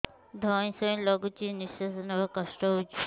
ଧଇଁ ସଇଁ ଲାଗୁଛି ନିଃଶ୍ୱାସ ନବା କଷ୍ଟ ହଉଚି